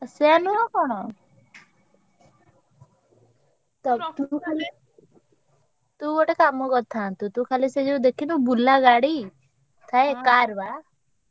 ଆଉ ସେୟା ନୁହଁ କଣ? ତୁ ଗୋଟେ କାମ କରି ଥାନ୍ତୁ, ତୁ ଖାଲି ସେ ଯୋଉ ଦେଖିନୁ ବୁଲା ଗାଡି ଥାଏ car ।